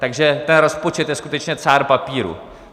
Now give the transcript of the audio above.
Takže ten rozpočet je skutečně cár papíru.